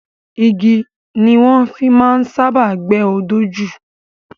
Igi ni wọ́n fi máa ń sábáà gbẹ́ odó jù.